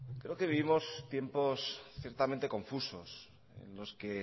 creo que vivimos tiempos ciertamente confusos en los que